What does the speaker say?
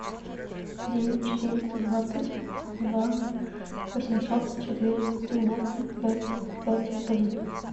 девять четыреста двадцать два восемьсот четыре девяносто пять пять один